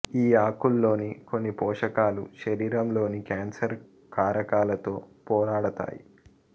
ఈ ఆకుల్లోని కొన్ని పోషకాలు శరీరంలోని క్యాన్సర్ కారకాలతో పోరాడతాయి